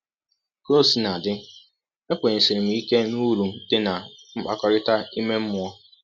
Ka ọ sina dị, ekwenyesiri m ike n’ụrụ dị ná mkpakọrịta ime mmụọ.